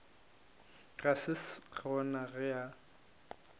ga se gona ge a